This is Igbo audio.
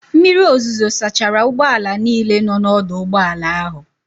Mmiri ozuzo sachara ụgbọala niile nọ n'ọdụ ụgbọala ahụ.